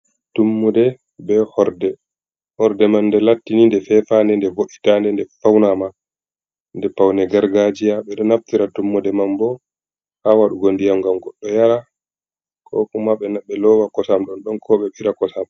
Tummude be horde, horde man nde latti ni nde fefande, nde vo’itande, nde faunama, be paune gargajia, ɓeɗo naftira tummude man bo ha waɗugo ndiyam ngam goɗɗo yara, ko kuma ɓe lowa kosam ɗon ɗon, ko ɓe ɓira kosam.